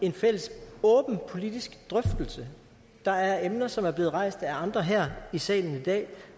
en fælles åben politisk drøftelse der er emner som er blevet rejst af andre her i salen i dag